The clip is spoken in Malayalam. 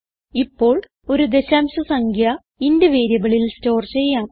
ഇപ്പോൾ ഒരു ദശാംശ സംഖ്യ ഇന്റ് വേരിയബിളിൽ ചെയ്യാം